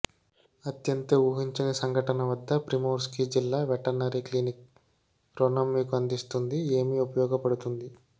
అత్యంత ఊహించని సంఘటన వద్ద ప్రిమోర్స్కీ జిల్లా వెటర్నరీ క్లినిక్ రుణం మీకు అందిస్తుంది ఏమి ఉపయోగపడుతుంది